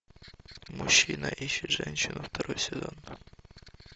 мужчина ищет женщину второй сезон